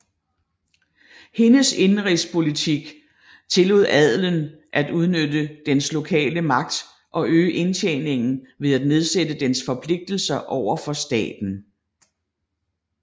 Hendes indenrigspolitik tillod adelen at udnytte dens lokale magt og øge indtjeningen ved at nedsætte dens forpligtelser over for staten